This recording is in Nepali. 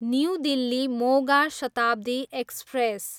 new Delhi, Moga Shatabdi express